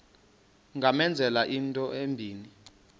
ungamenzela into embi